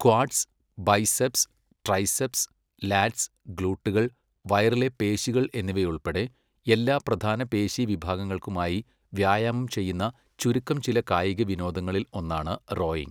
Quads, biceps, triceps, lats, ഗ്ലൂട്ടുകൾ, വയറിലെ പേശികൾ എന്നിവയുൾപ്പെടെ എല്ലാ പ്രധാന പേശി വിഭാഗങ്ങൾക്കുമായി വ്യായാമം ചെയ്യുന്ന ചുരുക്കം ചില കായിക വിനോദങ്ങളിൽ ഒന്നാണ് റോയിംഗ്.